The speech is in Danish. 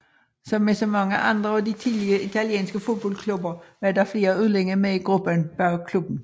Som med så mange andre af de tidlige italienske fodboldklubber var der flere udlændinge med i gruppen bag klubben